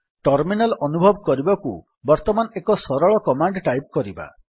terminal ଅନୁଭବ କରିବାକୁ ବର୍ତ୍ତମାନ ଏକ ସରଳ କମାଣ୍ଡ୍ ଟାଇପ୍ କରିବା